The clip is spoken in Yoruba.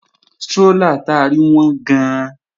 Strólà ta rí wọ́n gan-an